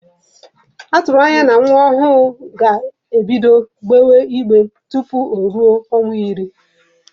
Atụrụ anya na nwa ọhụrụ ga-ebido gbewe igbe tupu o ruo ọnwa iri.